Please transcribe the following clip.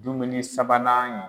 Dumuni sabanan